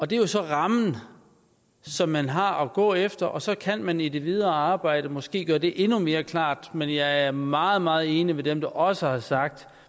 det er jo så rammen som man har at gå efter og så kan man i det videre arbejde måske gøre det endnu mere klart men jeg er meget meget enig med dem der også har sagt